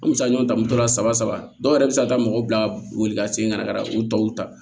An bɛ se ka ɲɔgɔn ta mun tɔrɔ saba dɔw yɛrɛ bɛ se ka taa mɔgɔ bila boli ka segin ka na ka na u tɔw ta